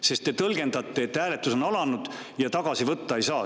Sest te tõlgendate, et hääletus on alanud ja tagasi neid võtta ei saa.